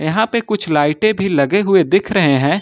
यहां पे कुछ लाइटे भी लगे हुए दिख रहे हैं।